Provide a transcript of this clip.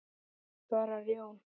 svarar Jón.